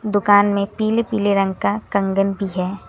दुकान में पीले पीले रंग का कंगन भी है।